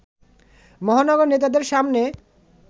মহানগর নেতাদের সামনে